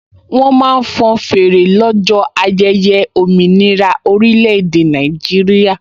Wọ́n máa ń fọn fèrè lọ́jọ́ ayẹyẹ òmìnira orílẹ̀-èdè Nàìjíríà